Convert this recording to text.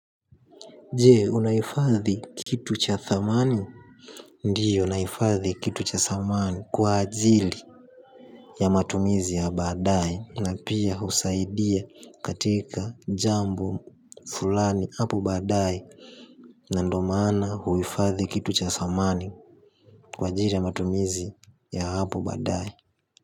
Je, unahifadhi kitu cha thamani? Ndiyo, nahifadhi kitu cha samani kwa ajili ya matumizi ya baadai na pia husaidia katika jambo fulani hapo baadae na ndo maana huifadhi kitu cha samani kwa ajili ya matumizi ya hapo baadae.